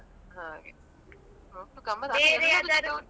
ಹಾಗೆ ಒಟ್ಟು .